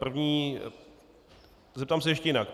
První - zeptám se ještě jinak.